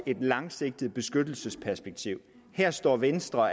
et langsigtet beskyttelsesperspektiv her står venstre